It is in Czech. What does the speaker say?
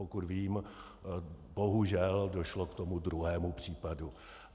Pokud vím, bohužel došlo k tomu druhému případu.